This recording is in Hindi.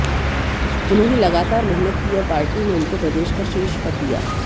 उन्होंने लगातार मेहनत की और पार्टी ने उनको प्रदेश का शीर्ष पद दिया